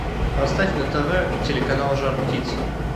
поставь на тв телеканал жар птица